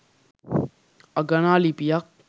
අගනා ලිපියක්